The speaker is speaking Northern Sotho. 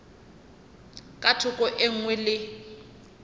ka thoko e nngwe le